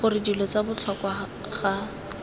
gore dilo tsa botlhokwa ga